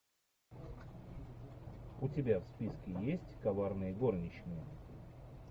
у тебя в списке есть коварные горничные